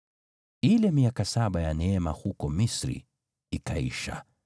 Ile miaka saba ya neema huko Misri ikaisha,